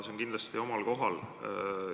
See on kindlasti omal kohal.